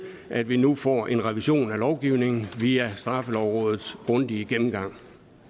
at vi nu får en revision af lovgivningen via straffelovrådets grundige gennemgang